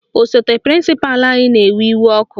Osote prịnsịpalụ anyị na-ewe iwe ọkụ